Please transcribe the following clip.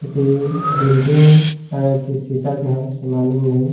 क्युकी बिल्डिंग है की शीशा के है से मालूम नही ।